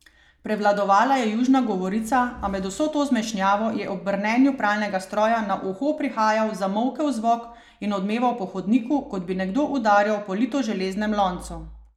Prevladovala je južna govorica, a med vso to zmešnjavo je ob brnenju pralnega stroja na uho prihajal zamolkel zvok in odmeval po hodniku, kot bi nekdo udarjal po litoželeznem loncu.